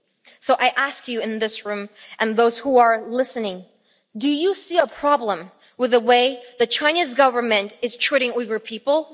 So I ask you in this room and those who are listening do you see a problem with the way the Chinese Government is treating Uyghur people?